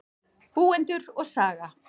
Búendur og saga.